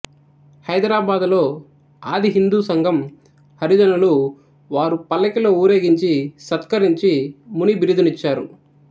హైదరాబాదులో ఆది హిందూసంఘం హరిజనులు వారు పల్లకిలో ఊరేగించి సత్కరించి ముని బిరుదునిచ్చారు